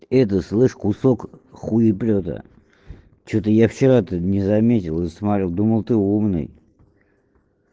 это ты слышь кусок хуеплёта что-то я вчера тут не заметил и смотрел думал ты умный